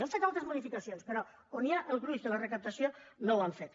han fet altres modificacions però on hi ha el gruix de la recaptació no n’han fet